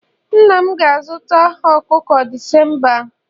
nna m ga-azụta ọkụkọ December a